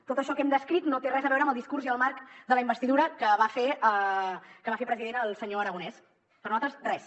tot això que hem descrit no té res a veure amb el discurs i el marc de la investidura que va fer president el senyor aragonès per nosaltres res